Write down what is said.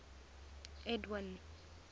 edwind